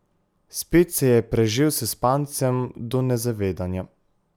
Spet se je prežel s spancem do nezavedanja.